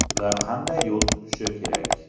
Ular qanday yo‘l tutishi kerak.